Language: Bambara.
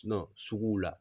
nɔn suguw la